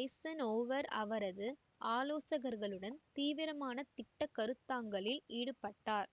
Eisenhower அவரது ஆலோசகர்களுடன் தீவரமான திட்ட கருத்தாங்களில் ஈடுபட்டார்